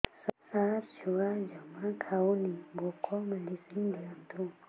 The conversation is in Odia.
ସାର ଛୁଆ ଜମା ଖାଉନି ଭୋକ ମେଡିସିନ ଦିଅନ୍ତୁ